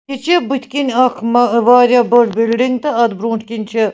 یہِ چھ بُتھہِ کِنۍ اکھ مہ واریاہ بٔڑ بِلڈِنگ .تہٕ اَتھ بروٗنٛٹھۍکِنۍچھ